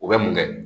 O bɛ mun kɛ